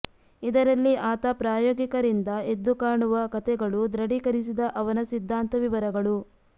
ಇದರಲ್ಲಿ ಆತ ಪ್ರಾಯೋಗಿಕ ರಿಂದ ಎದ್ದುಕಾಣುವ ಕಥೆಗಳು ದೃಢೀಕರಿಸಿದ ಅವನ ಸಿದ್ಧಾಂತ ವಿವರಗಳು